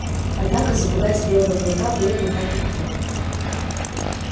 однако запугать белого клыка было не так легко